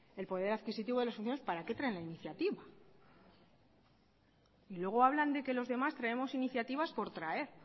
el poder adquisitivo de los para qué trae la iniciativa y luego hablan de que los demás traemos iniciativas por traer